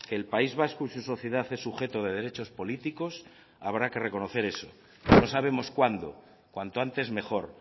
que el país vasco y su sociedad es sujeto de derechos políticos habrá que reconocer eso no sabemos cuándo cuanto antes mejor